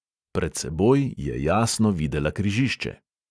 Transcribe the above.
Pred seboj je jasno videla križišče.